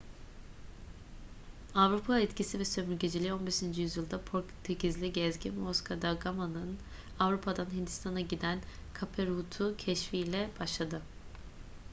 avrupa etkisi ve sömürgeciliği 15. yüzyılda portekizli gezgin vasco da gama'nın avrupa'dan hindistan'a giden cape route'u keşfi ile başladı